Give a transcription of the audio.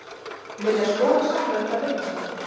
Vilja skoða samræmda launastefnu